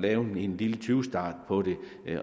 lave en lille tyvstart på det